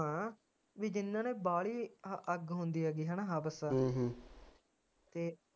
ਹਾਂ ਵੀ ਜਿਨ੍ਹਾਂ ਨੇ ਬਾਹਲੀ ਅੱਗ ਹੁੰਦੀ ਹੇਗੀ ਹੇਨਾ ਹਵਸ ਤੇ